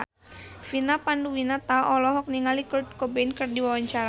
Vina Panduwinata olohok ningali Kurt Cobain keur diwawancara